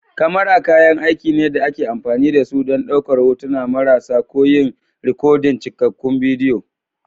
kamara kayan aiki ne da ake amfani da su don ɗaukar hotuna marasa ko yin rikodin cikakkun bidiyo